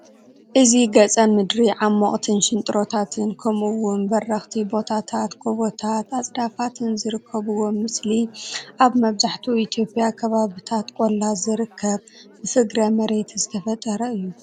እዚ ገፀ ምድሪ ዓመቁትን ሽንጥሮታትን ከምኡ ውን በረኽቲ ቦታታትን ጎበታትን አፅዳፋትን ዝርከብዎ ምስሊ አብ መብዛሕትኡ ኢትዮጵያ ከባብታት ቆላ ዝርከብ ብፍግረ መሬት ዝተፈጠረ እዩ